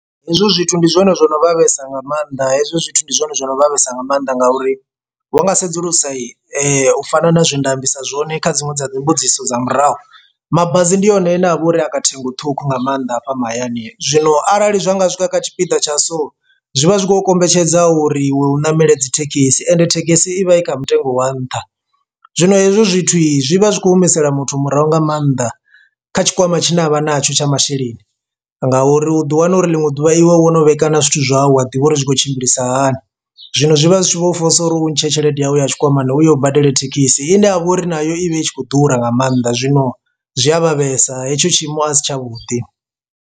Hezwo zwithu ndi zwone zwo no vhavhesa nga maanḓa hezwo zwithu ndi zwone zwo no vhavhesa nga maanḓa ngauri wa nga sedzulusa u fana na zwe nda ambisa zwone kha dziṅwe dza dzi mbudziso dza murahu mabasi. Ndi one ane a vha uri a kha ṱhengo ṱhukhu nga maanḓa hafha mahayani zwino arali zwa nga swika kha tshipiḓa tsha so zwi vha zwi khou kombetshedza uri iwe u namela dzithekhisi ende thekhisi i vha i kha mutengo wa nṱha. Zwino hezwo zwithu i zwi vha zwi kho humisela muthu murahu nga maanḓa kha tshikwama tshine a vha natsho tsha masheleni nga uri u ḓi wana uri ḽiṅwe ḓuvha iwe wo no vhee kana zwithu zwau a ḓivha uri zwi khou tshimbilisa hani zwino zwi vha zwi tshi vho fosa uri u ntshe tshelede yawe ya tshikwamani uyo u badele thekhisi ine yavha uri nayo i vha i tshi khou ḓura nga maanḓa zwino zwi a vha vhesa hetsho tshiimo a si tshavhuḓi.